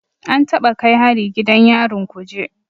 An taɓa kai hari gidan yarin Kuje